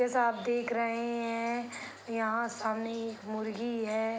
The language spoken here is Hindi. जैसा आप देख रहे हैं यहाँ सामने एक मुर्गी है।